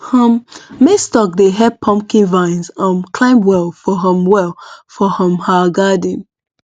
um maize stalk dey help pumpkin vines um climb well for um well for um our garden